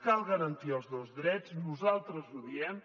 cal garantir els dos drets nosaltres ho diem